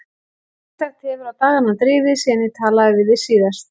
Ýmislegt hefur á dagana drifið síðan ég talaði við þig síðast.